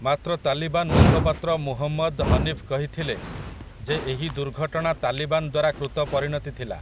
ମାତ୍ର ତାଲିବାନ୍ ମୁଖପାତ୍ର ମୁହମଦ୍ ହନୀଫ୍ କହିଥିଲେ ଯେ ଏହି ଦୁର୍ଘଟଣା ତାଲିବାନ୍ ଦ୍ୱାରା କୃତ ପରିଣତି ଥିଲା ।